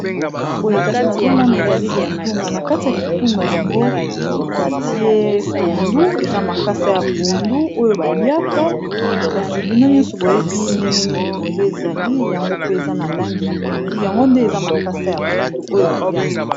Boye kasi nazomona ezali kitunga, na kati ya kitunga yango batie pondu eza makasa ya pondu oyo baliaka kasi bino nyonso boyebi ndengenini pondu ezali yango pe eza na langi ya pondu yango nde eza makasa ya pondu oyo baliaka.